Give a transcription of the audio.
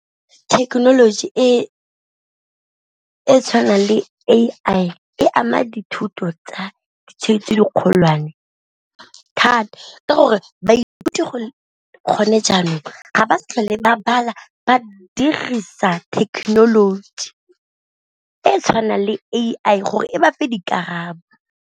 Thekenoloji e e tshwanang le A_I e ama dithuto tsa ditheo tse di kgolwane thata, ka gore baithuti gone jaanong ga ba sa tlhole ba bala ba dirisa technology e e tshwanang le A_I gore e ba fe dikarabo.